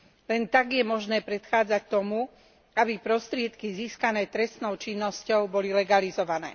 Len tak je možné predchádzať tomu, aby prostriedky získané trestnou činnosťou boli legalizované.